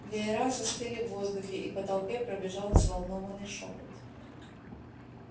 веера застыли в воздухе и по толпе пробежал взволнованный шёпот